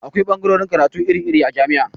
Akwai ɓagarorin karatu iri iri a jami'a